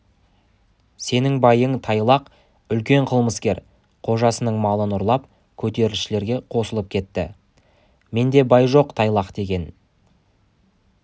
сенің байың тайлақ үлкен қылмыскер қожасының малын ұрлап көтерілісшілерге қосылып кетті менде бай жоқ тайлақ деген